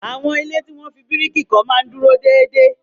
Àwọn ilé tí wọ́n fi bíríìkì kọ́ máa ń dúró déédéé.